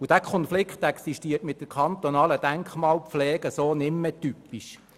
Der Konflikt mit der kantonalen Denkmalpflege ist nicht mehr gross.